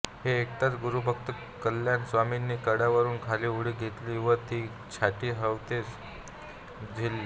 हे ऐकताच गुरुभक्त कल्याण स्वामींनी कड्यावरून खाली उडी घेतली व ती छाटी हवेतच झेलली